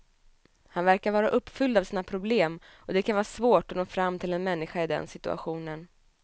Han verkar vara uppfylld av sina problem och det kan vara svårt att nå fram till en människa i den situationen.